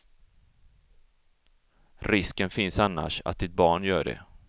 Risken finns annars att ditt barn gör det.